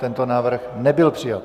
Tento návrh nebyl přijat.